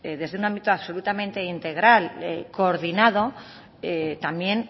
desde un ámbito absolutamente integral coordinado también